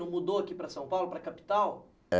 Não mudou aqui para São Paulo, para a capital? É